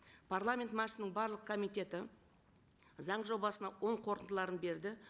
парламент мәжілісінің барлық комитеті заң жобасына оң қорытындыларын берді